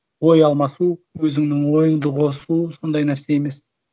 ой алмасу өзіңнің ойыңды қосу сондай нәрсе емес